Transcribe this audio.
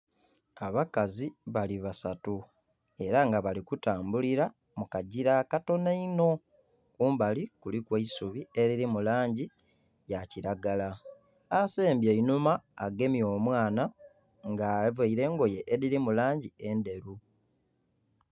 Abakazi bali basatu era nga bali kutambulira mu kagira akatono einho, kumbali kuliku eisubi eliri mu langi ya kilagala. Asembye eihnuma agemye omwana nga avaire engoye ediri mu langi enderu.